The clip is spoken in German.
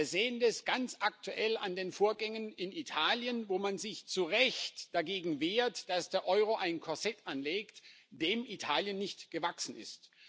Wir sehen das ganz aktuell an den Vorgängen in Italien, wo man sich zu Recht dagegen wehrt, dass der Euro ein Korsett anlegt, dem Italien nicht gewachsen ist.